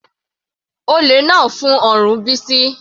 Olè náà fún ọrùn Bisi.